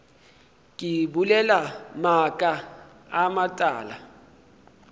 ke bolela maaka a matala